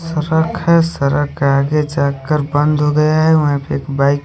सड़क है सड़क आगे जा के बंद हो गया है वहींपर एक बाइक --